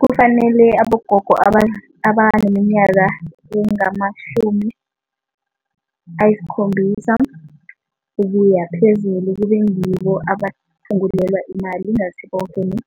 Kufanele abogogo abaneminyaka engamashumi ayisikhombisa ukuya phezulu kube ngibo abaphungulelwa imali, ingasi boke ni